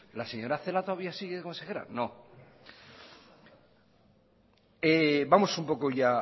la señora celaá todavía sigue de consejera no vamos un poco ya